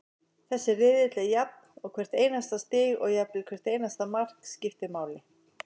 Þessi riðill er jafn og hvert einasta stig og jafnvel hvert einasta mark, skiptir máli.